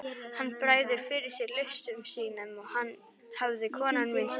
Hann bregður fyrir sig listum sínum hafði kona mín sagt.